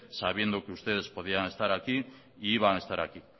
sabiendo que ustedes podíanestar aquí e iban a estar aquí